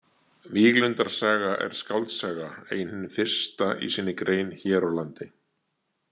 Víglundar saga er skáldsaga, ein hin fyrsta í sinni grein hér á landi.